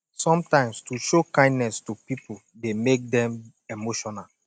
sometimes to show kindness to pipo de make dem emotional